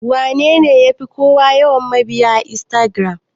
Wanene yafi kowa yawan mabiya a Instagiram?